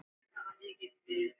Mig langar að það renni.